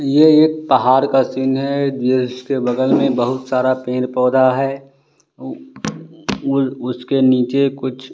ये एक पहाड़ का सीन है जिसके बगल में बहुत सारा पेड़ पौधा है उसके नीचे कुछ--